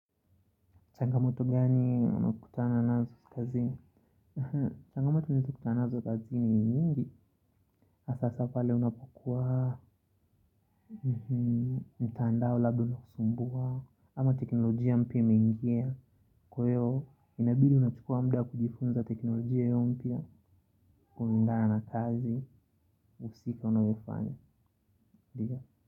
Changamoto gani unakutana nazo kazini? Changamoto nazokutana nazo kazi ni nyingi na sasa pale unapokua, mtandao labda unakusumbua, ama teknolojia mpya imeingia. Kwahio inabidi unachukua muda kujifunza teknolojia hiyo mpya. Kulingana na kazi, husika unayofanya.